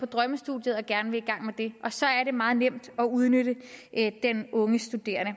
drømmestudie og gerne vil i gang med det og så er det meget nemt at udnytte den unge studerende